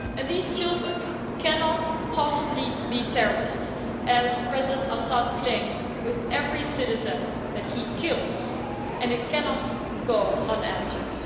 Those children cannot possibly be terrorists, as President Assad claims with every citizen that he kills, and this cannot go unanswered.